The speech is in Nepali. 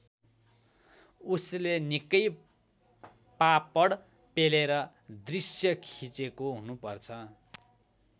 उसले निकै पापड पेलेर दृश्य खिचेको हुनुपर्छ।